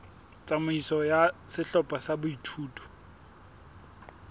tsamaiso ya sehlopha sa boithuto